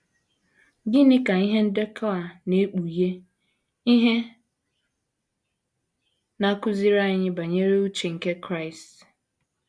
Gịnị ka ihe ndekọ a na - ekpughe ihe na - akụziri anyị banyere uche nke Kraịst?